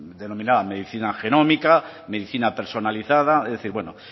denominada medicina genómica medicina personalizada es decir pues bueno